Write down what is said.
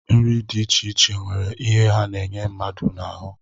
Nri dị iche iche nwere ihe ha na-enye mmadụ n'ahụ